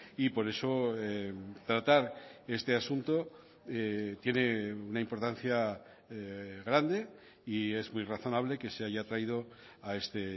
y por eso tratar este asunto tiene una importancia grande y es muy razonable que se haya traído a este